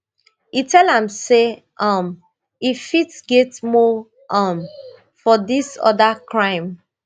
e tell her say um e fit get more um for dis oda crime